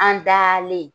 An dalen